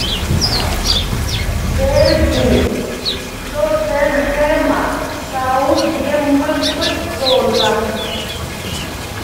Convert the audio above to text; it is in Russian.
дерби тоттенхэма саутгемптона